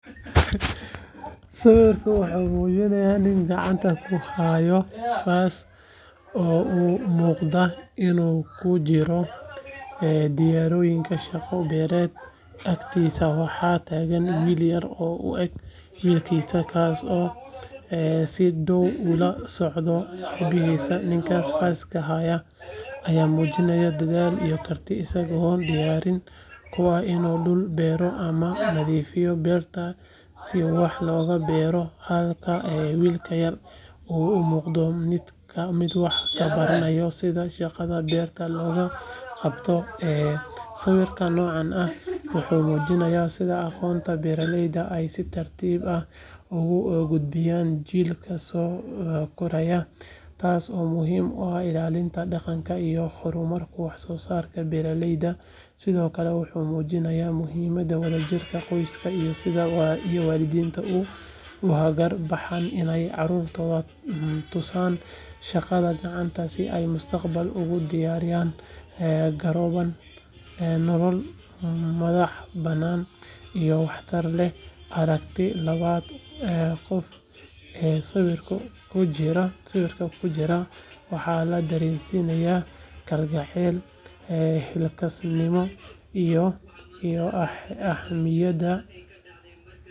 Sawirka wuxuu muujinayaa nin gacanta ku haya faas oo u muuqda inuu ku jiro diyaargarow shaqo beereed agtiisana waxaa taagan wiil yar oo u eg wiilkiisa kaasoo si dhow ula soconaya aabihiis ninkan faaska haya ayaa muujinaya dadaal iyo karti isagoo diyaar u ah inuu dhul beero ama nadiifiyo beerta si wax loogu beero halka wiilka yarna uu u muuqdo mid wax ka baranaya sida shaqada beerta loo qabto sawirka noocan ah wuxuu muujinayaa sida aqoonta beeralayda ay si tartiib tartiib ah ugu gudbiyaan jiilka soo koraya taasoo muhiim u ah ilaalinta dhaqanka iyo horumarinta wax soo saarka beeralayda sidoo kale waxa uu muujinayaa muhiimadda wadajirka qoyska iyo sida waalidiintu ugu hagar baxaan inay carruurtooda tusaan shaqada gacanta si ay mustaqbalka ugu diyaar garoobaan nolol madaxbannaan iyo waxtar leh aragtida labada qof ee sawirka ku jira waxay na dareensiisaa kalgacal, xilkasnimo.